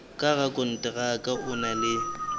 ka rakonteraka o na le